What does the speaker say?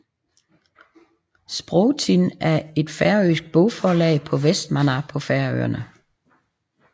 Sprotin er et færøsk bogforlag i Vestmanna på Færøerne